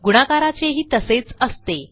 गुणाकाराचेही तसेच असते